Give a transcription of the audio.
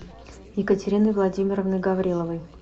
екатериной владимировной гавриловой